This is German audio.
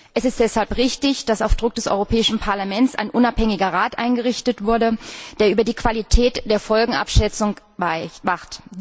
Es ist deshalb richtig, dass auf Druck des Europäischen Parlaments ein unabhängiger Rat eingerichtet wurde, der über die Qualität der Folgenabschätzung wacht.